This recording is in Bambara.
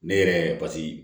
Ne yɛrɛ paseke